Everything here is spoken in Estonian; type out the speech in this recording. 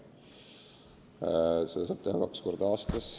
Ja seda saab teha kaks korda aastas.